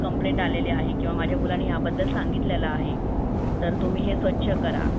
complaint आलेली आहे कीव माझ्या मुलंने ह्या बद्दल सांगितलेलं आहे तर तुम्ही हे स्वच्छ करा